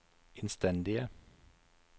innstendige